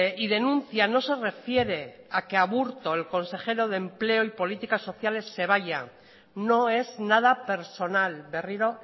y denuncia no se refiere a que aburto el consejero de empleo y políticas sociales se vaya no es nada personal berriro